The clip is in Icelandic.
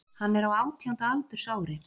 Hann er á átjánda aldursári